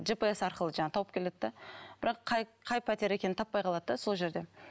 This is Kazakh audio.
жпс арқылы жаңағы тауып келеді де бірақ қай қай пәтер екенін таппай қалады да сол жерде